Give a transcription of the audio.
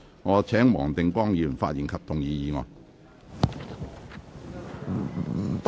我請黃定光議員發言及動議議案。